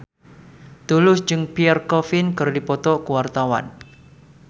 Tulus jeung Pierre Coffin keur dipoto ku wartawan